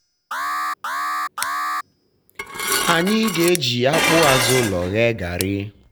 anyị na-eji akpụ azụ ụlọ ghee gari.